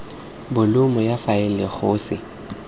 bolumo ya faele go se